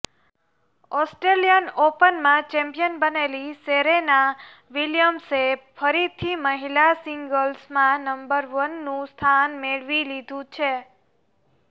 Australian ઓપનમાં champion બનેલી Serena વિલિયમ્સે ફરીથી મહિલા સિંગલ્સમાં નંબર વનનું સ્થાન મેળવી લીધું છે